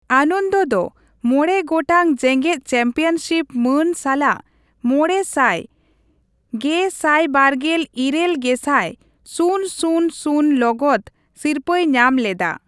ᱟᱱᱚᱱᱫ ᱫᱚ ᱢᱚᱬᱮ ᱜᱚᱟᱴᱝ ᱡᱮᱜᱮᱫ ᱪᱟᱢᱯᱤᱭᱚᱱᱥᱤᱯ ᱢᱟᱹᱱ ᱥᱟᱞᱟᱜ ᱢᱚᱬᱮ ᱥᱟᱭ ᱜᱮᱥᱟᱭᱵᱟᱨᱜᱮᱞ ᱤᱨᱟᱹᱞ ᱜᱮᱥᱟᱭ ᱥᱩᱱ ᱥᱩᱱ ᱥᱩᱱ ᱞᱚᱜᱚᱫ ᱥᱤᱨᱯᱟᱹᱭ ᱧᱟᱢ ᱞᱮᱫᱟ ᱾